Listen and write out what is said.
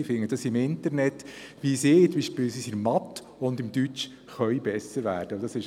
Sie finden es im Internet, beispielsweise, wie sie in Deutsch oder in Mathematik besser werden können.